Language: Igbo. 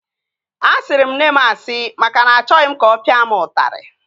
Asịrị m nne m asị maka na achọghị m ka ọ pịa m ụtarị